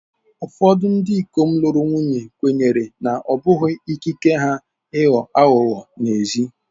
Ụfọdụ ndị ikom lụrụ nwunye kwenyere na ọ bụ ikike ha ịghọ aghụghọ n'ezi.